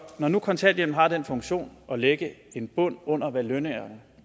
når nu kontanthjælpen har den funktion at lægge en bund under hvad lønningerne